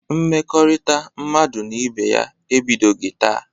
Mmekọrịta mmadụ na ibe ya ebidoghi taa.